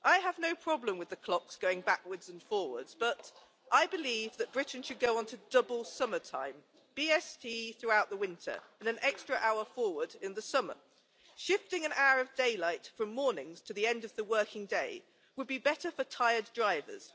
I have no problem with the clocks going backwards and forwards, but I believe that Britain should go onto double summertime BST throughout the winter, and an extra hour forward in the summer. Shifting an hour of daylight from mornings to the end of the working day would be better for tired drivers.